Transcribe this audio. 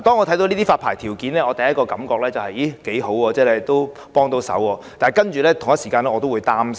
這些發牌條件給我的第一個感覺是似乎頗有效，可以幫得上忙，但我同時亦有點擔心。